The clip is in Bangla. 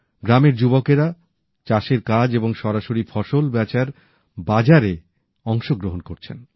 গ্রামের যুবকেরা চাষের কাজ এবং সরাসরি ফসল বেচার বাজারে অংশগ্রহণ করছেন